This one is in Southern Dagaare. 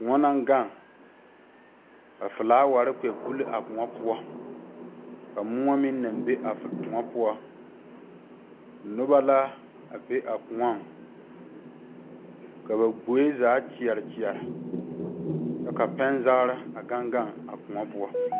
Kõɔ naŋ gaŋ ka filaaware kpɛ buli a kõɔ poɔ ka moɔ meŋ be a kõɔ poɔ noba la a be a kõɔ ka ba gboɛ zaa kyɛre kyɛre a gaŋ gaŋ a kõɔ poɔ.